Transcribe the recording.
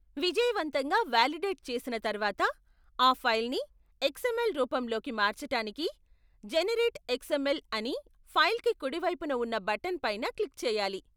విజయవంతంగా వాలిడేట్ చేసిన తర్వాత, ఆ ఫైల్ని ఎక్స్ఎమ్ఎల్ రూపంలోకి మార్చటానికి 'జెనెరేట్ ఎక్స్ఎమ్ఎల్' అని ఫైల్కి కుడివైపున ఉన్న బటన్ పైన క్లిక్ చేయాలి.